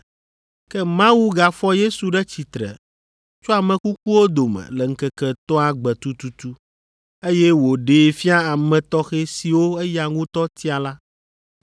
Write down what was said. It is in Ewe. Ke Mawu gafɔ Yesu ɖe tsitre tso ame kukuwo dome le ŋkeke etɔ̃a gbe tututu, eye wòɖee fia ame tɔxɛ siwo eya ŋutɔ tia la.